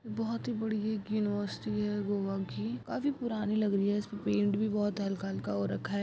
बहुत ही बड़ी एक यूनिवर्सिटी है गोवा की काफी पुरानी लग रही है इसमें पेंट भी हल्का-हल्का हो रखा है।